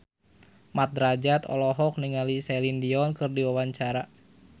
Mat Drajat olohok ningali Celine Dion keur diwawancara